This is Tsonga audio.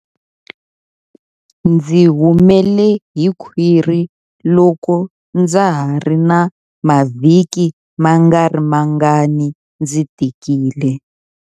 Ndzi humele hi khwiri loko ndza ha ri na mavhiki mangarimangani ndzi tikile.